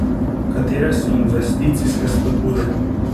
Katere so investicijske spodbude?